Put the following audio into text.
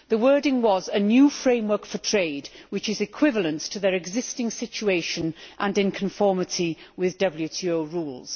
The wording was a new framework for trade which is equivalent to their existing situation and in conformity with WTO rules'.